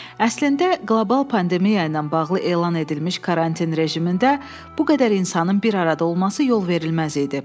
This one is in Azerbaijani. Əslində qlobal pandemiya ilə bağlı elan edilmiş karantin rejimində bu qədər insanın bir arada olması yol verilməz idi.